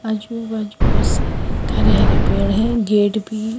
हरे हरे पेड़ है गेट भी है।